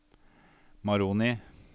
Moroni